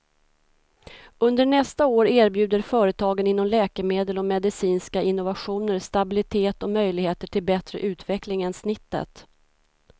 Under nästa år erbjuder företagen inom läkemedel och medicinska innovationer stabilitet och möjligheter till bättre utveckling än snittet.